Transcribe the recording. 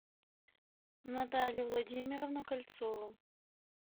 наталью владимировну кольцову